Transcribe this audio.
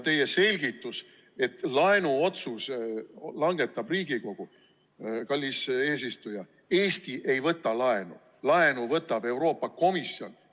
Teie selgitus, et laenuotsuse langetab Riigikogu – kallis eesistuja, Eesti ei võta laenu, laenu võtab Euroopa Komisjon.